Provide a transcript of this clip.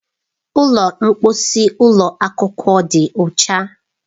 Ụlọ mposi ụlọ akwụkwọ dị ọcha.